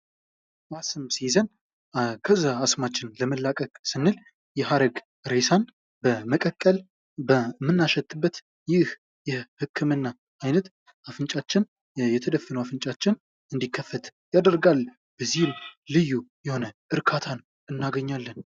አስም ሲይዘን ከዛ አስማችን ለመላቀቅ ስንል የሀረግ ሬሳን በመቀቀል በምናሸትበት ይህ የህክምና አይነት አፍንጫችን የተደፈነው አፍንጫችን እንድከፈት ያደርጋል። ለዚህም ልዩ የሆነ እርካታን እናገኛለን።